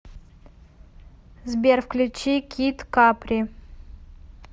сбер включи кид капри